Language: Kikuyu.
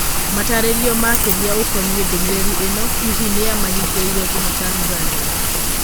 Matarĩrio makĩria ũkoniĩ ndũmĩrĩri ĩno, hihi nĩa mahingĩirwo thimũTanzania?